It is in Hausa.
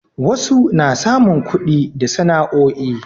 wasu na samun kudi da sana'o'i